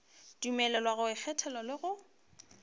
dumelelwa go ikgethela le go